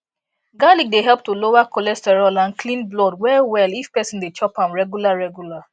garlic dey help to lower cholesterol and clean blood wellwell if person dey chop am regular regular